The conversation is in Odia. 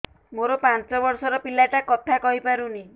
ମୋର ପାଞ୍ଚ ଵର୍ଷ ର ପିଲା ଟା କଥା କହି ପାରୁନି